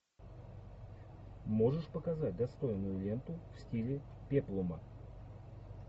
можешь показать достойную ленту в стиле пеплума